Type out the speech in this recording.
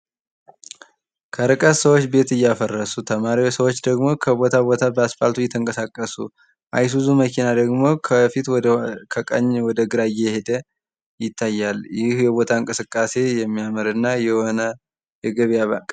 ከእርቀት ሰዎች ቤት እያፈረሱ ተማሪ ሰዎች ደግሞ ከቦታ ቦታ በአስፓልቱ እየተንቀሳቀሱ አይሱዙ መኪና ደግሞ ከቀኝ ወደ ግራ እየሄደ ይታያል። ይሄ ቦታ እንቅስቃሴ የሚያምር እና የሆነ የገበያ